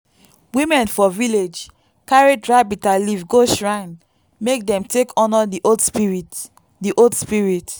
women for village carry dry bitterleaf go shrine make dem take honour the old spirits. the old spirits.